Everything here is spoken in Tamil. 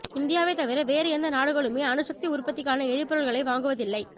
இந்தியாவைத் தவிர வேறு எந்த நாடுகளுமே அணுசக்தி உற்பத்திக்கான எரிபொருள்களை வாங்குவதில்லை